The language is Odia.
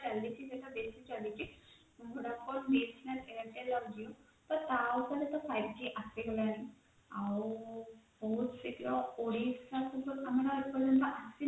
ସେଇଟା ବେସି ଚାଲିଛି vodafone, airtel, BSNL ଆଉ Jio ତ ତା ଉପରେ ତ five g ଆସିଗଲାଣି ଆଉ ସେଟା ଓଡିଶା